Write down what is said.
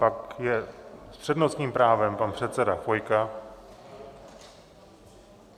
Pak je s přednostním právem pan předseda Chvojka.